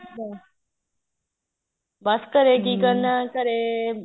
ਬੱਸ ਘਰੇ ਕੀ ਕਰਨਾ ਘਰੇ